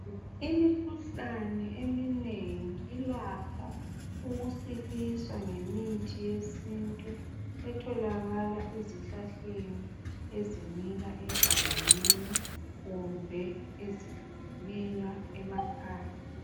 Imikhuhlane eminengi ilakho ukusiliswa ngemithi yesintu etholakala ezihlahleni ezimila egangeni kumbe ezilinywa emakhaya.